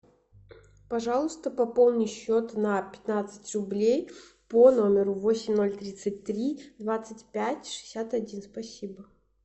пожалуйста пополни счет на пятнадцать рублей по номеру восемь ноль тридцать три двадцать пять шестьдесят один спасибо